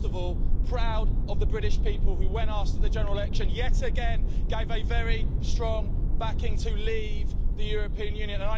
And most of all, proud of the British people who, when asked at the general election, yet again, gave a very strong backing to leave the European Union.